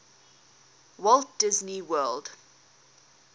walt disney world